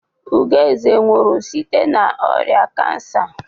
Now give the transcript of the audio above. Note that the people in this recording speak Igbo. Ugoeze nwụrụ site n'ọrịa kansa.